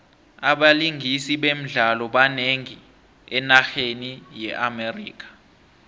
abalingisi bemidlalo banengi enarheni ye amerika